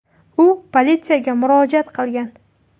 U politsiyaga murojaat qilgan.